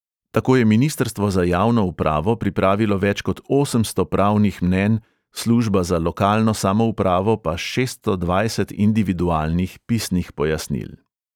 Tako je ministrstvo za javno upravo pripravilo več kot osemsto pravnih mnenj, služba za lokalno samoupravo pa šeststo dvajset individualnih pisnih pojasnil.